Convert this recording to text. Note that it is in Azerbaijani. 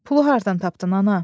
Pulu hardan tapdın ana?